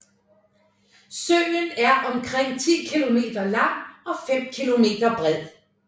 Søen er omkring 10 kilometer lang og 5 kilometer bred